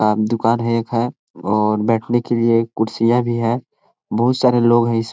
आप दुकान है एक है और बैठे के लिए कुर्सियां भी है बहुत सारे लोग इस--